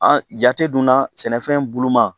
An jate dunna sɛnɛfɛn buluma